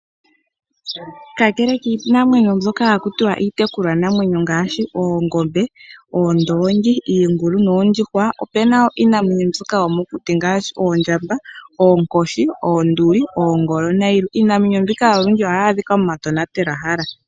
Kakele kiinamwenyo mbyoka iitekulwanamwenyo ngaashi oongombe, oondoongi, iingulu noondjuhwa, opu na iinamwenyo yomokuti ngaashi oondjamba, oonkoshi noongolo nayilwe. Iinamwenyo mbika olundji ohayi adhika momatonatelwahala.